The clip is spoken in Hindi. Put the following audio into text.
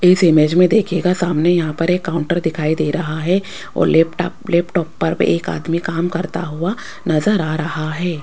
इस इमेज में देखिएगा सामने यहां पर एक काउंटर दिखाई दे रहा है और लैपटॉप लैपटॉप पर एक आदमी काम करता हुआ नजर आ रहा है।